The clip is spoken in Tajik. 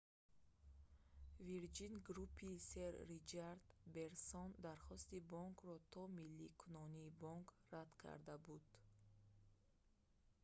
вирҷин груп»-и сэр ричард брэнсон дархости бонкро то милликунонии бонк рад карда буд